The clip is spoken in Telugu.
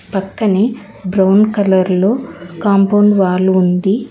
పక్కనే బ్రౌన్ కలర్ లో కాంపౌండ్ వాల్ ఉంది.